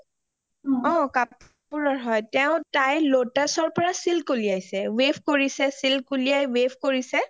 অ কাপোৰৰ হয় তাই lotus ৰ পৰা silk উলিয়াইছে weave কৰিছে silk উলিয়াই weave কৰিছে